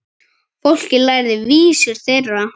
Fólkið lærði vísur þeirra.